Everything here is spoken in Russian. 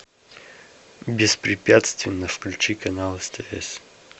беспрепятственно включи канал стс